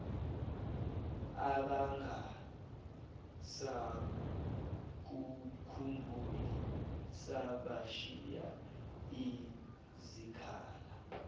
abangasakukhumbuli bashiye izikhala